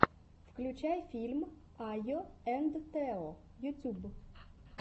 включай фильм айо энд тео ютюб